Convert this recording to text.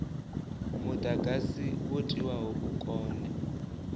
mudagasi wo tiwaho u kone